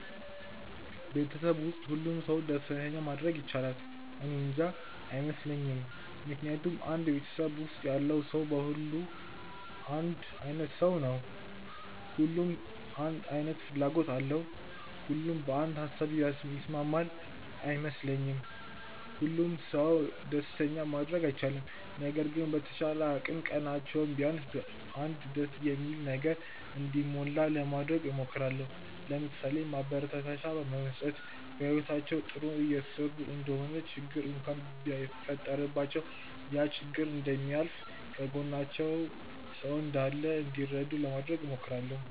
በቤተሰብ ውስጥ ሁሉንም ሰው ደስተኛ ማድረግ ይቻላል? እኔንጃ። አይመስለኝም ምክንያቱም አንድ ቤተሰብ ውስጥ ያለው ሰው በሙሉ አንድ አይነት ሰው ነው? ሁሉም አንድ አይነት ፍላጎት አለው? ሁሉም በአንድ ሃሳብ ይስማማል? አይ አይመስለኝም። ሁሉንም ሰው ደስተኛ ማድረግ አልችልም። ነገር ግን በተቻለኝ አቅም ቀናቸው ቢያንስ በ አንድ ደስ በሚል ነገር እንዲሞላ ለማድረግ እሞክራለው። ለምሳሌ፦ ማበረታቻ መስጠት፣ በህይወታቸው ጥሩ እየሰሩ እንደሆነ ችግር እንኳን ቢፈጠረባቸው ያ ችግር እንደሚያልፍ፣ ከጎናቸው ሰው እንዳላቸው እንዲረዱ ለማድረግ እሞክራለው።